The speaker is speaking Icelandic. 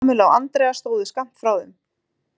Kamilla og Andrea stóðu skammt frá þeim.